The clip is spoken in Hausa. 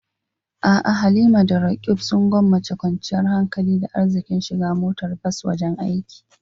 A'a Halima da Roqeeb sun gwammace kwanciyar hankali da arziƙin shiga motar bas wajen aiki.